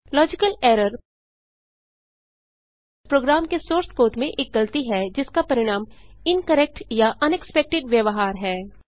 logical error program के source code में एक गलती है जिसका परिणाम इनकरेक्ट या अनएक्सपेक्टेड व्यवहार है